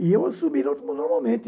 E eu assumi normal normalmente.